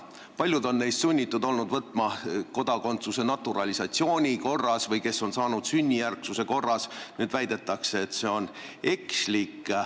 Paljud neist on olnud sunnitud võtma kodakondsuse naturalisatsiooni korras või kui keegi on saanud kodakondsuse sünnijärgsuse korras, siis nüüd väidetakse, et see anti ekslikult.